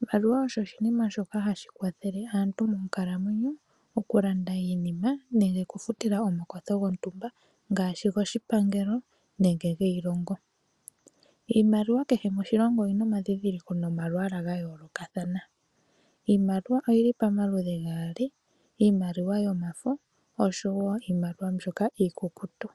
iimaliwa osho oshinima shoka hashi kwathele aantu moonkalamwenyo okulanda iinima nenge okufutila omakwatho gontumba ngashi goshipangelo nenge giilonga. Iimaliwa kehe moshilongo oyina omadhindhiliko nomalwala ga yoolokathana, iimaliwa oyili pamaludhi gaali iimaliwa yomafo niimaliwa mbyoka iikukutu.